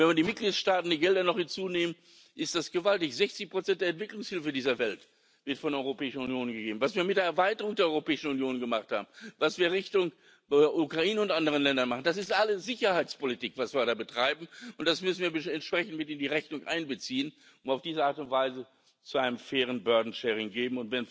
Wenn man die Gelder der Mitgliedstaaten noch hinzunimmt, ist das gewaltig 60 der Entwicklungshilfe dieser Welt wird von der Europäischen Union gegeben. Was wir mit der Erweiterung der Europäischen Union gemacht haben, was wir Richtung Ukraine und anderen Ländern machen, das ist alles Sicherheitspolitik, was wir da betreiben, und das müssen wir entsprechend in die Rechnung miteinbeziehen, um auf diese Art und Weise zu einer fairen Lastenteilung zu